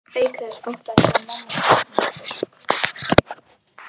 Auk þess óttaðist ég að mamma kæmi að okkur.